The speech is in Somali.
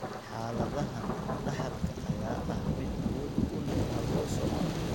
Xaaladahan, dhaxalka ayaa ah mid awood u leh autosomal.